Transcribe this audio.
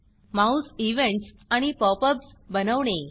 Mouse events आणि pop ups बनवणे